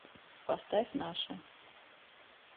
поставь наша